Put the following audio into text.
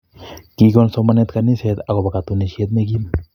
Kigon somanet kaniset akopo katunisiet ne kim